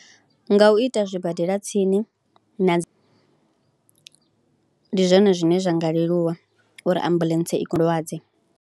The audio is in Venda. Nga u ita zwibadela tsini na ndi dzi, ndi zwone zwine zwa nga leluwa uri ambuḽentse i .